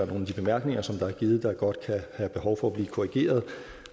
nogle af de bemærkninger som er givet der godt kan have behov for at blive korrigeret og